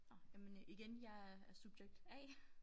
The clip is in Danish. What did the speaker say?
Nåh jamen øh igen jeg er er subjekt A